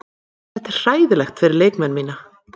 Þetta er hræðilegt fyrir leikmenn mína.